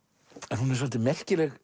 en hún er svolítið merkileg